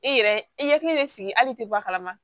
E yɛrɛ i hakili bɛ sigi hali i tɛ bɔ a kalama